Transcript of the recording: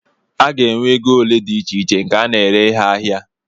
A ga-enwe ego ole dị icheiche nke a na-ere ihe ahịa